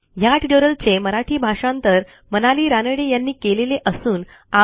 ह्या ट्युटोरियलचे मराठी भाषांतर मनाली रानडे यांनी केलेले असून आवाज